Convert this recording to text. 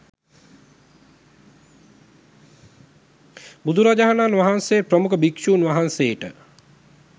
බුදුරජාණන් වහන්සේ ප්‍රමුඛ භික්ෂූන් වහන්සේට